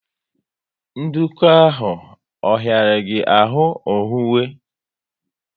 Nduku ahụ ọ hiara gị ahụ owuwe?